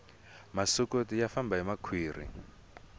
masokoti ya famba hi makhwiri